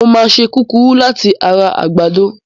Mo máa ṣe kúkúrú láti ara àgbàdo.